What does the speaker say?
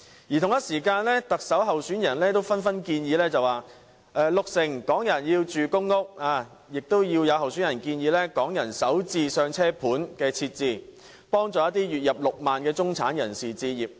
與此同時，各特首候選人也紛紛提出各種建議，有人說要讓六成港人入住公屋，又有候選人建議設置"港人首置上車盤"，幫助月入6萬元的中產人士置業。